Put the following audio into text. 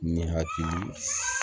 Ni hakili s